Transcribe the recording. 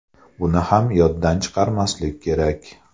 Buni ham yoddan chiqarmaslik kerak.